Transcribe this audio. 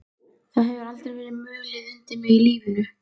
Það hefur aldrei verið mulið undir mig í lífinu.